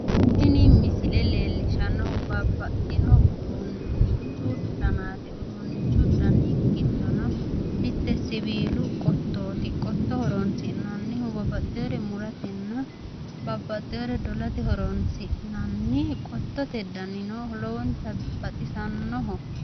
Tini misile leellishshannohu babbaxxino uduunnichu danaati. Uduunnichu dani giddono mitte siwiilu qottooti. Horinsi'nannihu babbaxxewore muratenna babbaxxewore dolate horonsi'nanni qottote danino lowonta baxisannoho.